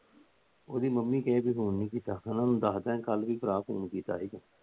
ਉਹਦੀ ਮੰਮੀ ਕਹੇਗੀ Phone ਨਹੀਂ ਕੀਤਾ। ਉਹਨਾਂ ਨੂੰ ਦੱਸ ਦਿਆਂਗੇ ਭਰਾ ਕੱਲ ਵੀ Phone ਕੀਤਾ।